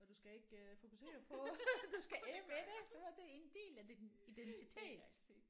Og du skal ikke fokusere på at du skal af med så det er en del af din identitet